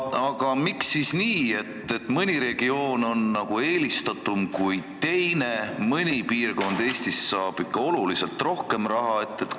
Aga miks on siis nii, et mõni regioon on eelistatum kui teine, mõni piirkond Eestis saab ikka oluliselt rohkem raha?